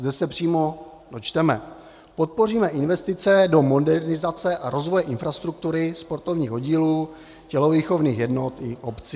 Zde se přímo dočteme: "Podpoříme investice do modernizace a rozvoje infrastruktury sportovních oddílů, tělovýchovných jednot i obcí."